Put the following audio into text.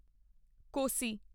ਕੋਸੀ